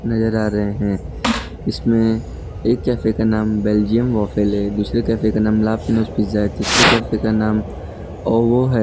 आ रहे हैं इसमें एक कैफ़े का नाम बेल्जियम वाफ्ल है दूसरे कैफ़े का नाम ला पिनो पिज़्ज़ा है तीसरे कैफ़े का नाम और ओवो है।